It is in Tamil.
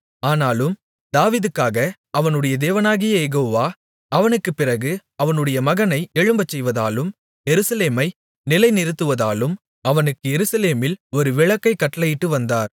ஆனாலும் தாவீதுக்காக அவனுடைய தேவனாகிய யெகோவா அவனுக்குப் பிறகு அவனுடைய மகனை எழும்பச்செய்வதாலும் எருசலேமை நிலைநிறுத்துவதாலும் அவனுக்கு எருசலேமில் ஒரு விளக்கைக் கட்டளையிட்டு வந்தார்